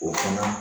O fana